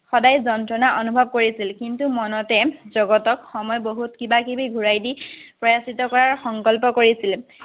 সদায় যন্ত্ৰণা অনুভৱ কৰিছিল, কিন্তু, মনতে জগতক সময় বহুত কিবা-কিবি ঘুৰাই দি প্ৰায়চিত্ত কৰাৰ সংকল্প কৰিছিল।